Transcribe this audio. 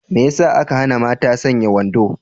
Me yasa aka hana mata sanya wando?